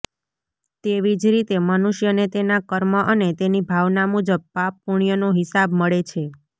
તેવી જ રીતે મનુષ્યને તેના કર્મ અને તેની ભાવના મુજબ પાપ પુણ્યનો હિસાબ મળે છે